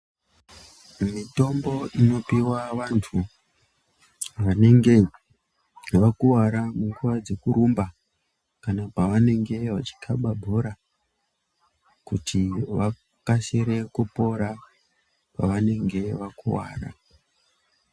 Mitombo inopiva vantu vanenge vakuvara munguva dzekurumba. Kana pavanenge vachikaba bhora kuti vakasire kupora pavanenge vakuvara.